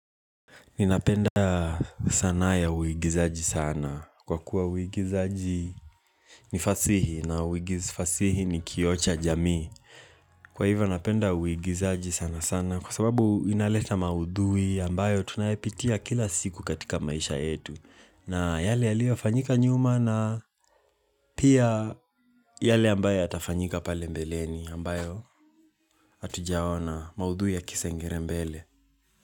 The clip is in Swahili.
Ninapenda sanaa ya uigizaji sana. Kwa kuwa uigizaji ni fasihi na fasihi ni kioo cha jamii. Kwa hivyo napenda uigizaji sana sana. Kwa sababu inaleta maudhui ambayo tunayapitia kila siku katika maisha yetu. Na yale yalio fanyika nyuma na pia yale ambayo yatafanyika pale mbeleni ambayo hatujaona maudhui ya kisengele mbele.